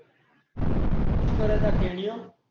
શું કરે છે આ તેડયો